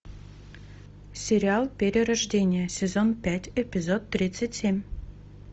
сериал перерождение сезон пять эпизод тридцать семь